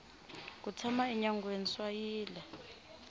ku tshama enyangweni swa yila